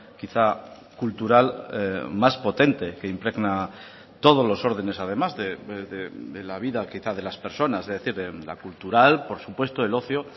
quizá cultural más potente que impregna todos los órdenes además de la vida quizá de las personas es decir la cultural por supuesto el ocio